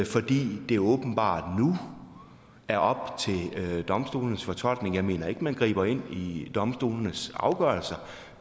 fordi det åbenbart nu er op til domstolenes fortolkning jeg mener ikke at man griber ind i domstolenes afgørelser